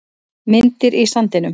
Myndir í sandinum